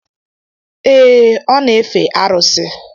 Ee e, ọ na-efe arusi.